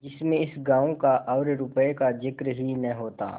जिसमें इस गॉँव का और रुपये का जिक्र ही न होता